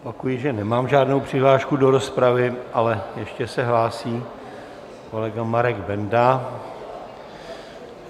Opakuji, že nemám žádnou přihlášku do rozpravy, ale ještě se hlásí kolega Marek Benda.